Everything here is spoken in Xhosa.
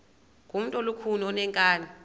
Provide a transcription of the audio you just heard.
ngumntu olukhuni oneenkani